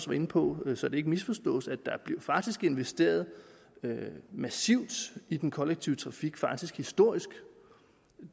var inde på så det ikke misforstås der blev faktisk investeret massivt i den kollektive trafik faktisk historisk